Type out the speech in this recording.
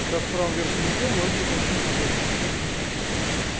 как раз в правом верхнем углу вас будет написано оплатите счёт за подключение